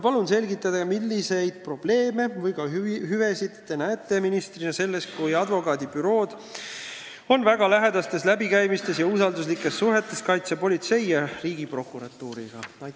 Palun selgitage, milliseid probleeme või hüvesid näete Teie ministrina selles, kui advokaadibüroo on väga lähedases läbikäimises ja usalduslikes suhetes Kaitsepolitseiameti ja prokuratuuriga?